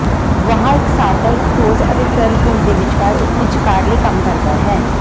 ਵਹਾਅ ਇਕਸਾਰਤਾ ਇੱਕ ਠੋਸ ਅਤੇ ਤਰਲ ਪੁੰਜ ਦੇ ਵਿਚਕਾਰ ਇੱਕ ਵਿਚਕਾਰਲੇ ਕੰਮ ਕਰਦਾ ਹੈ